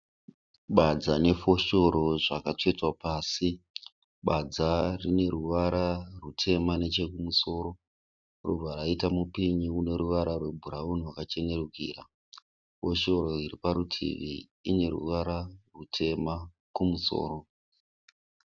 Badza nefoshoro zvakatsvetwa pasi badza rine ruvara rwutema nechekumusoro robva raita mupini une ruvara rwebhurauni rwakachenerukira, foshoro iri parutivi ine ruvara rwutema kumusoro.